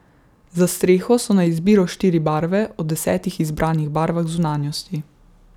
Za streho so na izbiro štiri barve, ob desetih izbranih barvah zunanjosti.